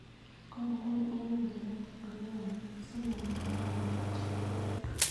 Konor any en olekaitit ako yamat simanam bobek ak susurik.